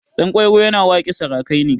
Ɗanƙwairo yana waƙe sarakai ne.